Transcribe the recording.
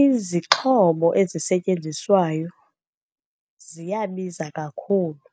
izixhobo ezisetyenziswayo ziyabiza kakhulu.